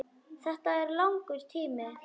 Þetta er langur tími.